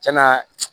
Cɛn na